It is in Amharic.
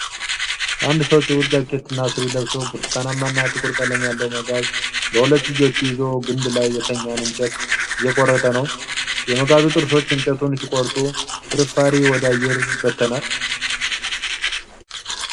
አንድ ሰው ጥቁር ጃኬትና ሱሪ ለብሶ፣ ብርቱካንማና ጥቁር ቀለም ያለው መጋዝ (chainsaw) በሁለት እጆቹ ይዞ ግንድ ላይ የተኛን እንጨት እየቆረጠ ነው። የመጋዙ ጥርሶች እንጨቱን ሲቆርጡ ፍርፋሪ ወደ አየር ይበተናል።